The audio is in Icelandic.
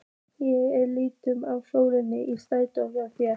Ég er lituð af sól í sætinu hjá þér.